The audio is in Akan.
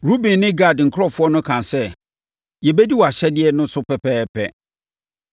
Ruben ne Gad nkurɔfoɔ no kaa sɛ, “Yɛbɛdi wʼahyɛdeɛ no so pɛpɛɛpɛ.